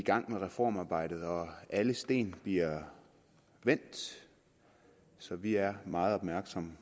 i gang med reformarbejdet og alle sten bliver vendt så vi er meget opmærksomme